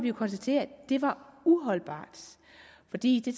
jo konstatere var uholdbart fordi det